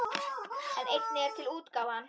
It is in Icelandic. En einnig er til útgáfan